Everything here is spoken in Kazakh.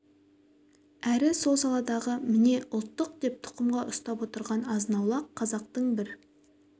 әрі сол саладағы міне ұлттық деп тұқымға ұстап отырған азын-аулақ қазақтың бір